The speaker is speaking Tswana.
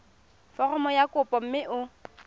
foromo ya kopo mme o